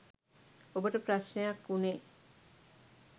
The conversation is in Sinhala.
ඔබට ප්‍රශ්නයක් වුණේ